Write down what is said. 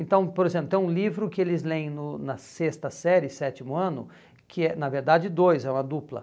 Então, por exemplo, tem um livro que eles leem no na sexta série, sétimo ano, que é, na verdade, dois, é uma dupla.